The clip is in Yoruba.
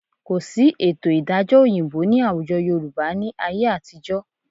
Kò sí ètò ìdájọ́ òyìnbó ní àwùjọ Yorùbá ni ayé àtijọ́